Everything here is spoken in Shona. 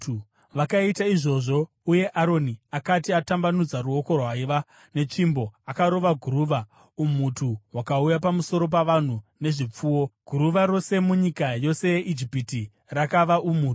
Vakaita izvozvo uye Aroni akati atambanudza ruoko rwaiva netsvimbo akarova guruva umhutu hukauya pamusoro pavanhu nezvipfuwo. Guruva rose munyika yose yeIjipiti rakava umhutu.